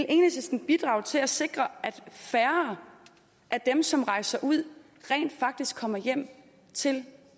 enhedslisten bidrage til at sikre at færre af dem som rejser ud rent faktisk kommer hjem til